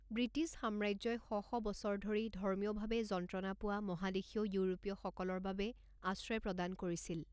British সাম্ৰাজ্যই শ শ বছৰ ধৰি ধৰ্মীয়ভাৱে যন্ত্ৰণা পোৱা মহাদেশীয় ইউৰোপীয়সকলৰ বাবে আশ্ৰয় প্ৰদান কৰিছিল।